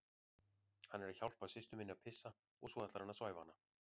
Hann er að hjálpa systur minni að pissa og svo ætlar hann að svæfa hana